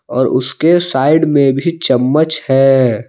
और उसके साइड में भी चम्मच है।